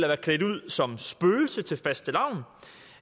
være klædt ud som spøgelse til fastelavn